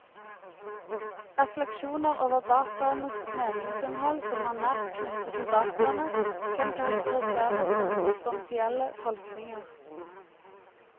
Refleksjoner over dataenes meningsinnhold som er nært knyttet til dataene, kan karakteriseres som substansielle tolkninger.